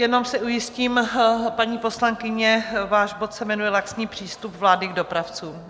Jenom se ujistím, paní poslankyně: váš bod se jmenuje Laxní přístup vlády k dopravcům.